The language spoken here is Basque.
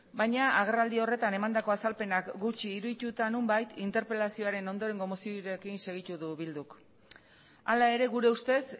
baina agerraldi horretan emandako azalpenak gutxi irudituta nonbait interpelazioaren ondorengo moziorekin segitu du bilduk hala ere gure ustez